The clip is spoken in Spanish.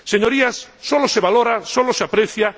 Señorías, solo se valora, solo se aprecia...